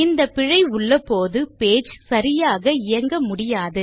இந்த பிழை உள்ளபோது பேஜ் சரியாக இயங்க முடியாது